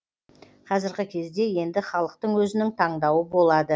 қазіргі кезде енді халықтың өзінің таңдауы болады